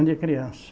criança.